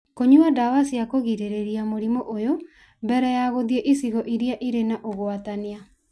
Kũnyua ndawa cia kũgirĩrĩria mũrimũ ũyũ mbere ya gũthiĩ icigo irĩa irĩ na ũgwatania.